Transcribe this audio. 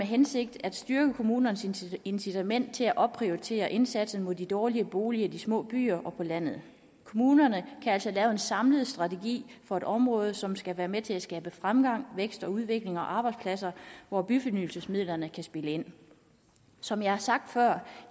hensigt at styrke kommunernes incitament til at opprioritere indsatsen mod de dårlige boliger i de små byer og på landet kommunerne kan altså lave en samlet strategi for et område som skal være med til at skabe fremgang vækst udvikling og arbejdspladser hvor byfornyelsesmidlerne kan spille ind som jeg har sagt før